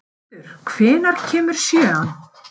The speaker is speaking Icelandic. Reynhildur, hvenær kemur sjöan?